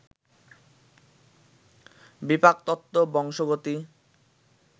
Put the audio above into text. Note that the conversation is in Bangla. বিপাকতত্ত্ব, বংশগতি